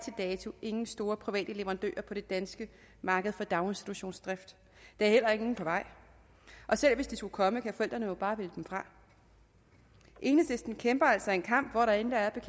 dato ingen store private leverandører på det danske marked for daginstitutionsdrift der er heller ingen på vej og selv hvis de skulle komme kan forældrene jo bare vælge dem fra enhedslisten kæmper altså en kamp hvor der intet er